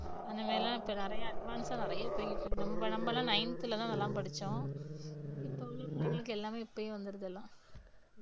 அந்த மாதிரி எல்லாம் இப்ப நிறைய advance ஆ நிறைய போயிட்டு இருக்கு நம்ம நம்ப எல்லாம் ninth ல தான் இதெல்லாம் படிச்சோம் இப்ப உள்ள பிள்ளைங்களுக்கு எல்லாமே இப்பயே வந்துடுது எல்லாம்